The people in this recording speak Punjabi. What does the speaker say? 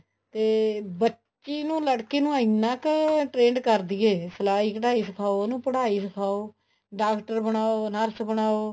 ਤੇ ਬੱਚੀ ਨੂੰ ਲੜਕੀ ਨੂੰ ਇੰਨਾ ਕ trained ਕਰਦੋ ਸਲਾਈ ਕਢਾਈ ਸਿਖਾਓ ਉਹਨੂੰ ਪੜਾਈ ਸਿਖਾਓ ਡਾਕਟਰ ਬਣਾਓ nurse ਬਣਾਓ